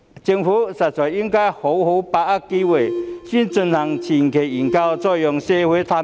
政府實在應該好好把握機會，先進行前期研究，然後再讓社會探討。